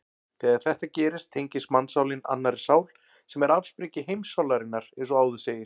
Þegar þetta gerist tengist mannssálin annarri sál sem er afsprengi heimssálarinnar eins og áður segir.